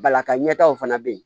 Balaka ɲɛtagaw fana bɛ yen